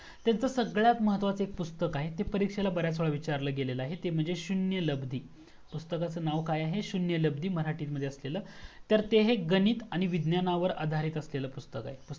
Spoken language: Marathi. त्यांच सर्वात महत्वाचा एक पुस्तक आहे परीक्षेला बर्‍याच वेळेला विचारलं गेलेल आहे ते म्हणजे शून्य लब्दी पुस्तकाच नाव काय आहे शून्य लब्दी मराठी मध्ये असलेल तर हे एक गणित आणि विज्ञानवर आधारित असलेल पुस्तक आहे